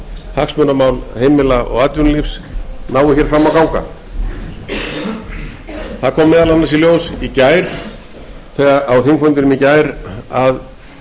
hagsmunamál heimila og atvinnulífs nái fram að ganga það kom meðal annars í ljós á þingfundinum í gær að